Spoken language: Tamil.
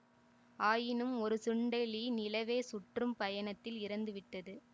ஆயினும் ஒரு சுண்டெலி நிலவைச் சுற்றும் பயணத்தில் இறந்து விட்டது